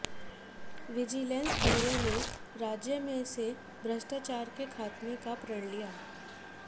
vigilance bureau ने राज्य में से भ्रष्टाचार के ख़ात्मे का लिया प्रण